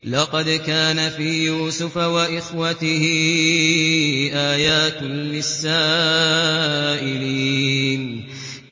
۞ لَّقَدْ كَانَ فِي يُوسُفَ وَإِخْوَتِهِ آيَاتٌ لِّلسَّائِلِينَ